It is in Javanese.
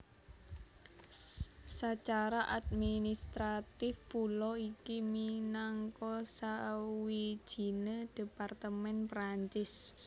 Sacara administratif pulo iki minangka sawijine departemen Perancis